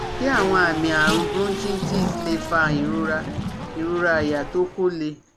Ṣé àwọn àmì àrùn bronchitis lè fa ìrora ìrora àyà tó ko le?